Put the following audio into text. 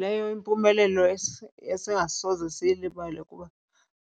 Leyo yimpumelelo esingasoze siyibale kuba